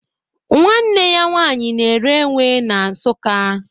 Nwanne ya nwaanyi na ere ewe na Nsụka